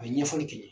A ye ɲɛfɔli kɛ